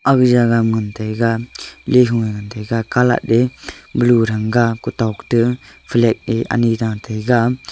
aga jagah ma ngan taiga lehu e ngan taiga colat e blue thanga kutok e flag e anyi ra taga.